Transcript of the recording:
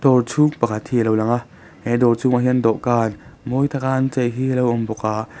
chhung pakhat hi a lo lang a he dawr chhungah hian dawhkan mawi taka an chei hi a lo awm bawk a.